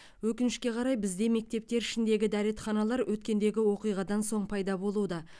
өкінішке қарай бізде мектептер ішіндегі дәретханалар өткендегі оқиғадан соң пайда болуда